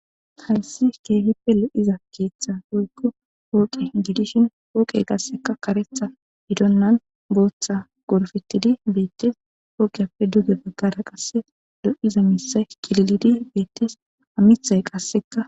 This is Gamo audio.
hayssi keehife lo7iza keeththa goykko hooqe gidishin pooqe qasseka karetha gidonnan booththa gorfettidi beettes pooqiappe duge baggara qasse lo7iza miisa qililidi beettes amithay qasseka